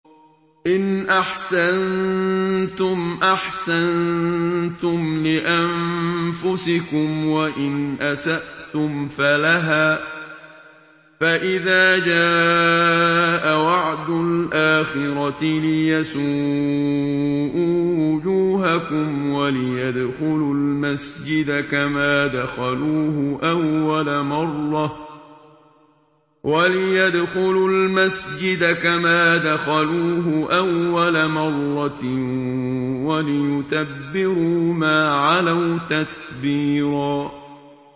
إِنْ أَحْسَنتُمْ أَحْسَنتُمْ لِأَنفُسِكُمْ ۖ وَإِنْ أَسَأْتُمْ فَلَهَا ۚ فَإِذَا جَاءَ وَعْدُ الْآخِرَةِ لِيَسُوءُوا وُجُوهَكُمْ وَلِيَدْخُلُوا الْمَسْجِدَ كَمَا دَخَلُوهُ أَوَّلَ مَرَّةٍ وَلِيُتَبِّرُوا مَا عَلَوْا تَتْبِيرًا